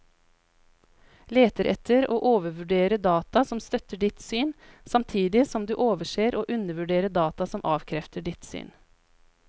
Leter etter og overvurderer data som støtter ditt syn, samtidig som du overser og undervurderer data som avkrefter ditt syn.